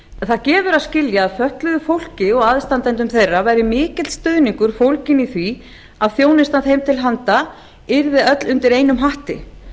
það gefur að skilja að fötluðu fólki og aðstandendum þeirra væri mikill stuðningur fólginn í því að þjónusta þeim til handa yrði öll undir einum hatti